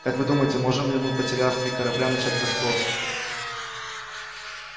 как вы думаете можем ли мы потеряв три корабля начать расспросы